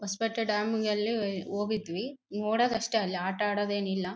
Hosapete dam ಯಲ್ಲಿ ಹೋಗಿದ್ವಿ ನೋಡೋದ್ ಅಷ್ಟೇ ಅಲ್ಲಿ ಆಟ ಆಡೋದ್ ಏನಿಲ್ಲ .